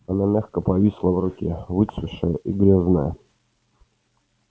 она мягко повисла в руке выцветшая и грязная